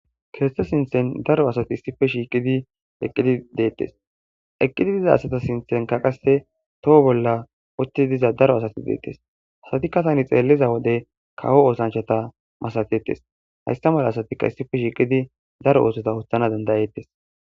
kirste sinthen daro asati issife shiiqidi eqqidi deettes eqqidi diza asata sinthenka qasse toho bolla othtii diza daro asati deettes asati kasani xeelliza wode kawo oosanchata masafettes haysta mala asatikka issife shiiqidi daro oosota hothana dandayeettes